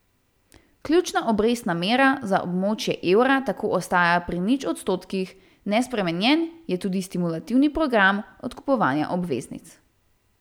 Ključna obrestna mera za območje evra tako ostaja pri nič odstotkih, nespremenjen je tudi stimulativni program odkupovanja obveznic.